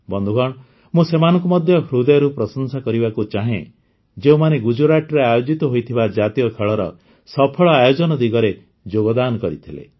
ବନ୍ଧୁଗଣ ମୁଁ ସେମାନଙ୍କୁ ମଧ୍ୟ ହୃଦୟରୁ ପ୍ରଶଂସା କରିବାକୁ ଚାହେଁ ଯେଉଁମାନେ ଗୁଜୁରାଟରେ ଆୟୋଜିତ ହୋଇଥିବା ଜାତୀୟ ଖେଳର ସଫଳ ଆୟୋଜନ ଦିଗରେ ଯୋଗଦାନ କରିଥିଲେ